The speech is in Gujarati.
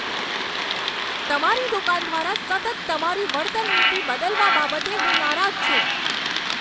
તમારી દુકાન દ્વારા સતત તમારી વળતર નીતિ બદલવા બાબતે હું નારાજ છું.